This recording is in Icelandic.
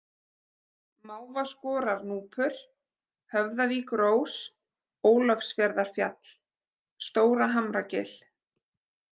Mávaskorarnúpur, Höfðavíkurós, Ólafsfjarðarfjall, Stóra-Hamragil